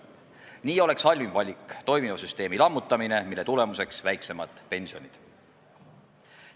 Nii oleks halvim valik toimiva süsteemi lammutamine, mille tulemuseks on väiksemad pensionid.